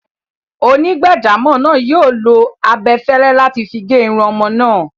Onígbàjámọ̀ náà yóò lo abẹfẹ́lẹ́ láti figé irun ọmọ náà.